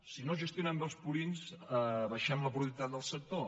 si no es gestionen bé els purins abaixem la productivitat del sector